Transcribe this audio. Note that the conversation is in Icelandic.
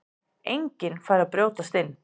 Enginn færi að brjótast inn.